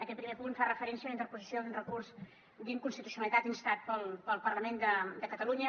aquest primer punt fa referència a la interposició d’un recurs d’inconstitucionalitat instat pel parlament de catalunya